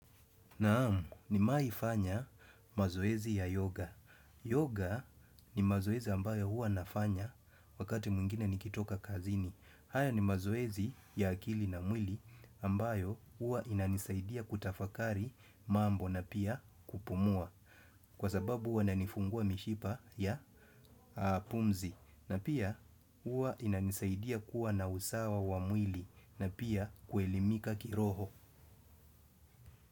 Naam nimewahi fanya mazoezi ya yoga. Yoga ni mazoezi ambayo huwa nafanya wakati mwingine nikitoka kazini. Haya ni mazoezi ya akili na mwili ambayo huwa inanisaidia kutafakari mambo na pia kupumua. Kwa sababu huwa inanifungua mishipa ya pumzi na pia hua inanisaidia kuwa na usawa wa mwili na pia kuelimika kiroho.